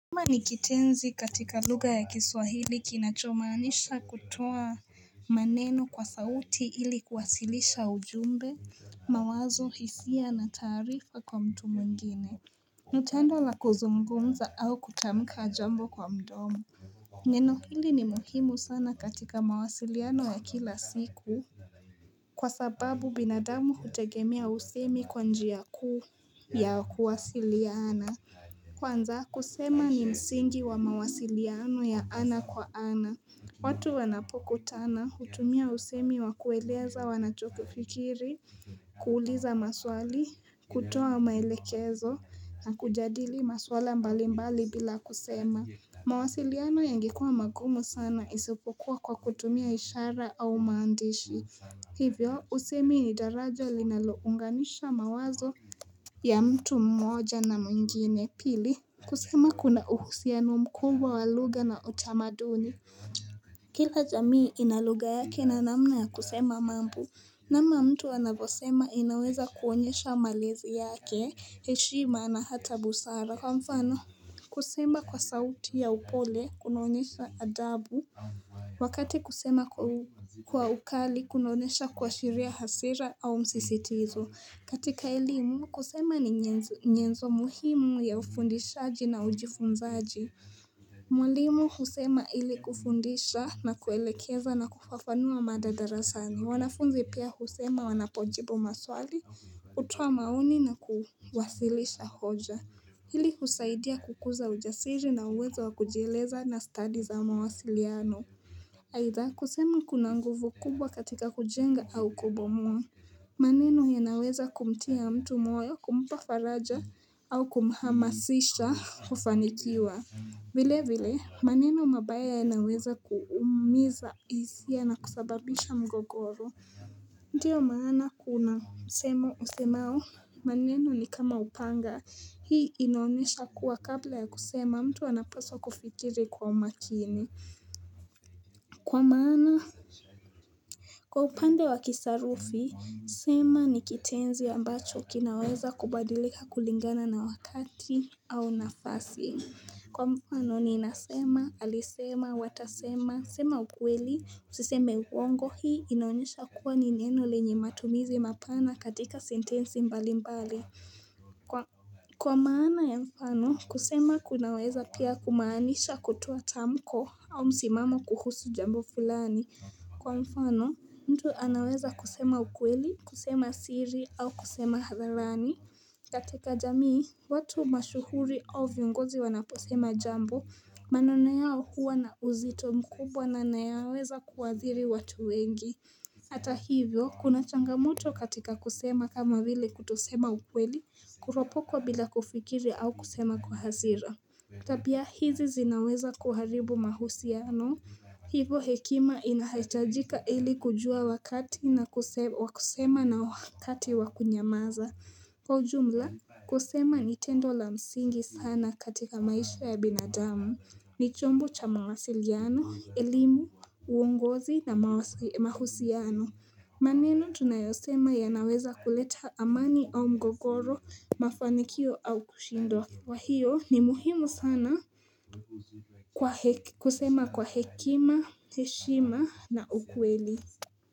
Soma ni kitenzi katika lugha ya kiswahili kinachomaanisha kutoa maneno kwa sauti ili kuwasilisha ujumbe, mawazo hisia na taarifa kwa mtu mwingine, ni tendo la kuzungumza au kutamka jambo kwa mdomo. Neno hili ni muhimu sana katika mawasiliano ya kila siku. Kwa sababu binadamu hutegemea usemi kwa njia kuu ya kuwasiliana. Kwanza kusema ni msingi wa mawasiliano ya ana kwa ana watu wanapokutana hutumia usemi wa kueleza wanachokifikiri kuuliza maswali kutoa maelekezo na kujadili maswala mbali mbali bila kusema mawasiliano yangekuwa magumu sana isipokuwa kwa kutumia ishara au maandishi Hivyo usemi ni daraja linalounganisha mawazo ya mtu mmoja na mwingine pili kusema kuna uhusiano mkubwa wa lugha na utamaduni Kila jamii ina lugha yake na namna ya kusema mambo namna mtu anavyosema inaweza kuonyesha malezi yake heshima na hata busara Kwa mfano kusema kwa sauti ya upole kunaonyesha adabu Wakati kusema kwa ukali kunaonesha kuashiria hasira au msisitizo katika elimu kusema ni nyenzo muhimu ya ufundishaji na ujifunzaji Mwalimu husema ili kufundisha na kuelekeza na kufafanua mada darasani wanafunzi pia husema wanapojibu maswali kutoa maoni na kuwasilisha hoja Hili husaidia kukuza ujasiri na uwezo wa kujieleza na stadi za mawasiliano Aidha kusemu kuna nguvu kubwa katika kujenga au kubomoa maneno yanaweza kumtia mtu moyo kumpa faraja au kumhamasisha kufanikiwa vile vile maneno mabaya yanaweza kuumiza hisia na kusababisha mgogoro. Ndiyo maana kuna msemo usemao maneno ni kama upanga Hii inaonyesha kuwa kabla ya kusema mtu anapaswa kufikiri kwa makini Kwa maana, kwa upande wa kisarufi, sema ni kitenzi ambacho kinaweza kubadilika kulingana na wakati au nafasi. Kwa mfano ninasema, alisema, watasema, sema ukweli, usiseme uongo hii, inaonyesha kuwa ni neno lenye matumizi mapana katika sentensi mbali mbali. Kwa maana ya mfano, kusema kunaweza pia kumaanisha kutoa tamko au msimamo kuhusu jambo fulani. Kwa mfano, mtu anaweza kusema ukweli, kusema siri au kusema hadharani. Katika jamii, watu mashuhuri au viongozi wanaposema jambo, maneno yao huwa na uzito mkubwa na nayaweza kuathiri watu wengi. Hata hivyo, kuna changamoto katika kusema kama vile kutosema ukweli, kuropokwa bila kufikiri au kusema kwa hasira. Tabia hizi zinaweza kuharibu mahusiano, hivo hekima inahitajika ili kujua wakati wa kusema na wakati wa kunyamaza. Kwa ujumla kusema ni tendo la msingi sana katika maisha ya binadamu ni chombo cha mawasiliano, elimu, uongozi na mahusiano maneno tunayosema yanaweza kuleta amani au mgogoro, mafanikio au kushindwa kwa hiyo ni muhimu sana kusema kwa hekima, heshima na ukweli.